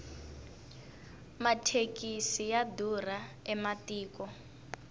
mathekisi ya durha ematiko